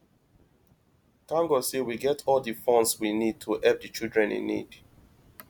thank god say we get all the funds we need to help the children in need